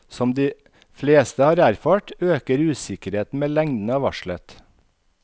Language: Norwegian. Som de fleste har erfart, øker usikkerheten med lengden av varslet.